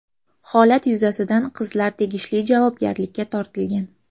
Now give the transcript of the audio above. Holat yuzasidan qizlar tegishli javobgarlikka tortilgan.